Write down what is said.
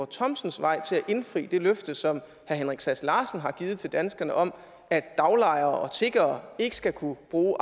thomsens vej til at indfri det løfte som herre henrik sass larsen har givet til danskerne om at daglejere og tiggere ikke skal kunne bruge